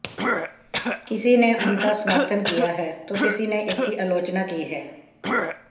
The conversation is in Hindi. किसी ने उनका समर्थन किया है तो किसी ने इसकी आलोचना की है